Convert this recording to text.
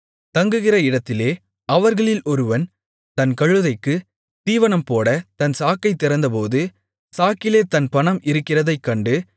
தங்குகிற இடத்திலே அவர்களில் ஒருவன் தன் கழுதைக்குத் தீவனம் போடத் தன் சாக்கைத் திறந்தபோது சாக்கிலே தன் பணம் இருக்கிறதைக் கண்டு